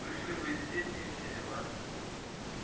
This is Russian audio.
вышли бы из сети и все дела